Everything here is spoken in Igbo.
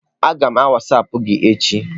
Aga m wasapụ gi echi.